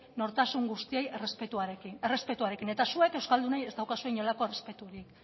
nortasun guztiei errespetuarekin eta zuek euskaldunei ez daukazue inolako errespeturik